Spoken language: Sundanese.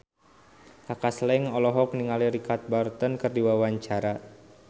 Kaka Slank olohok ningali Richard Burton keur diwawancara